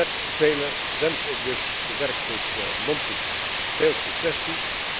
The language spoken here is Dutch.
Met velen wens ik dus de werkgroep Monti veel succes toe.